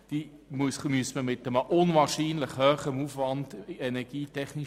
Sie müssten energietechnisch mit einem unglaublich hohen Aufwand saniert werden.